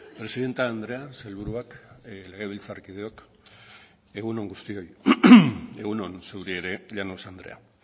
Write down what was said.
presidente andrea sailburuak legebiltzarkideok egun on guztioi egun on zuri ere llanos andrea